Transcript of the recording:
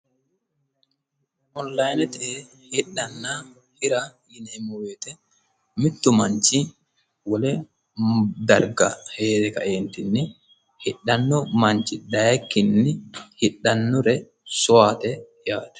onilayinete hidhanna hira yineemmo wote mittu manchi wole darga heere kaeentinni hidhanno manchi dayiikkinni hidhannore soyaate yaate.